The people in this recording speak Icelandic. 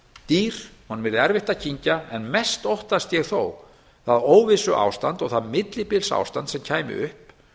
dýr honum yrði erfitt að kyngja en mest óttast ég þó það óvissu ástand og það millibils ástand sem kæmi upp